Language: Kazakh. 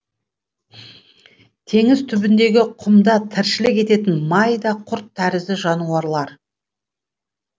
теңіз түбіндегі құмда тіршілік ететін майда құрт тәрізді жануарлар